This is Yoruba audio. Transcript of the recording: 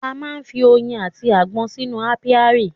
A má ń fi oyin àti agbọ́n sínú ápíárì